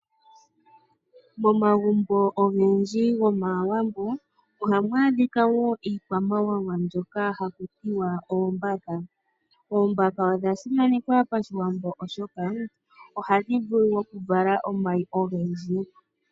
Momagumbo ogendji gAawambo, ohamu adhika wo iikwamawawa mbyoka hayi ithanwa oombaka. Oombaka odha simanekwa paShiwambo oshoka, ohadhi vulu okuvala omayi ogendji.